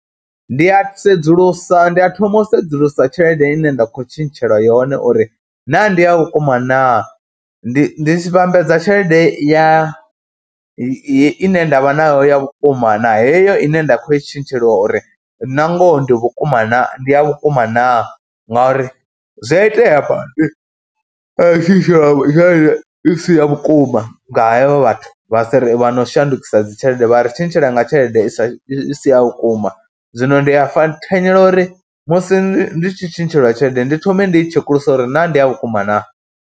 Ndi a sedzulusa, ndi a thoma u sedzulusa tshelede ine nda khou tshintshelwa yone uri naa ndi a vhukuma naa, ndi ndi tshi vhambedza tshelede ya ine nda vha nayo ya vhukuma na heyo ine nda khou i tshintsheliwa uri nangoho ndi vhukuma naa, ndi ya vhukuma naa ngauri zwi a itea badi wa tshintsheliwa tshelede i si ya vhukuma nga hevho vhathu vha si, vha no shandukisa dzi tshelede vha ri tshintshela nga tshelede i sa, i si ya vhukuma. Zwino ndi a fa, thanyela uri musi ndi tshi tshintshelwa tshelede ndi thome ndi i tshekulusa uri naa ndi ya vhukuma naa.